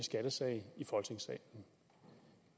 skattesag i folketingssalen